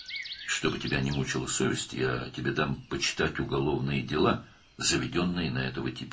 Vicdanın səni narahat etməsin deyə, sənə bu tipə açılmış cinayət işlərini oxumağa verəcəyəm.